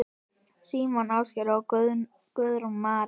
Símon Ásgeir og Guðrún María.